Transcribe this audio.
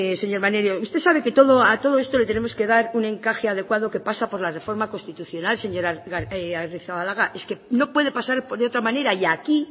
señor maneiro usted sabe que a todo esto le tenemos que dar un encaje adecuado que pasa por la reforma constitucional señor agirrezabalaga es que no puede pasar por otra manera y aquí